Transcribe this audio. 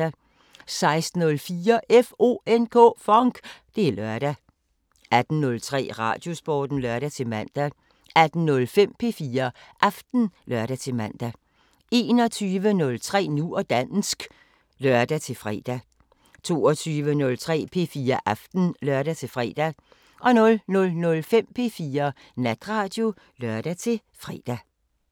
16:04: FONK! Det er lørdag 18:03: Radiosporten (lør-man) 18:05: P4 Aften (lør-man) 21:03: Nu og dansk (lør-fre) 22:03: P4 Aften (lør-fre) 00:05: P4 Natradio (lør-fre)